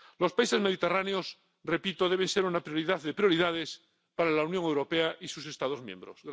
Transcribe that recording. Los países mediterráneos —repito— deben ser una prioridad de prioridades para la Unión Europea y sus Estados miembros.